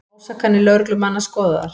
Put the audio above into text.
Ásakanir lögreglumanna skoðaðar